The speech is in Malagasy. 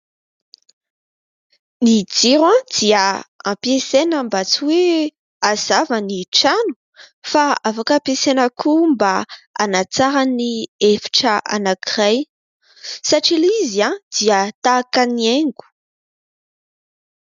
Ny jiro dia ampiasaina mba tsy hoe hazava ny trano fa afaka ampiasaina koa mba hanatsara ny efitra anankiray satria ilay izy dia tahaka ny haingo.